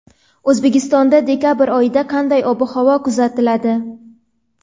O‘zbekistonda dekabr oyida qanday ob-havo kuzatiladi?.